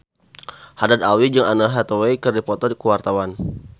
Haddad Alwi jeung Anne Hathaway keur dipoto ku wartawan